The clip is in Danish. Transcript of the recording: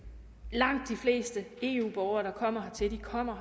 langt de fleste eu borgere der kommer hertil kommer